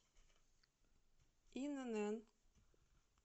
инн